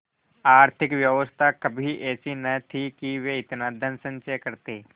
आर्थिक व्यवस्था कभी ऐसी न थी कि वे इतना धनसंचय करते